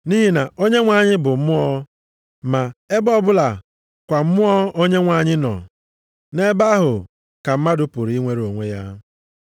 Nʼihi na Onyenwe anyị bụ Mmụọ, ma ebe ọbụla kwa Mmụọ Onyenwe anyị nọ, nʼebe ahụ ka mmadụ pụrụ inwere onwe ya.